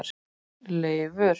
Leifur